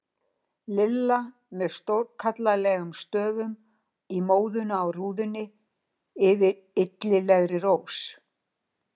LILLA með stórkallalegum stöfum í móðuna á rúðunni yfir illilegri rós.